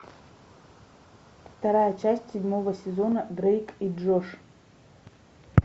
вторая часть седьмого сезона дрейк и джош